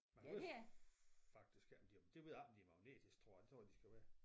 Men jeg ved faktisk ikke om de det ved jeg ikke om de er magnetiske tror jeg det tror jeg de skal være